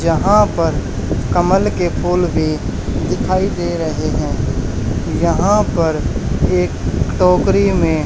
यहां पर कमल के फूल भी दिखाई दे रहे हैं। यहां पर एक टोकरी में--